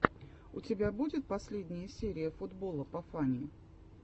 у тебя будет последняя серия футбола по фани